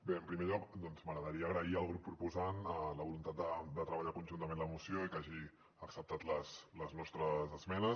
bé en primer lloc m’agradaria donar les gràcies al grup proposant la voluntat de treballar conjuntament la moció i que hagi acceptat les nostres esmenes